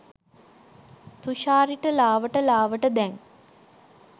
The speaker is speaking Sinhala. තුෂාරිට ලාවට ලාවට දැන්